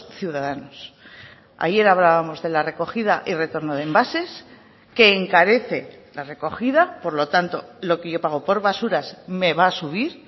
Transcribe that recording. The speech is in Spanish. ciudadanos ayer hablábamos de la recogida y retorno de envases que encarece la recogida por lo tanto lo que yo pago por basuras me va a subir